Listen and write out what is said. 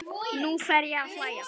Nú fer ég að hlæja.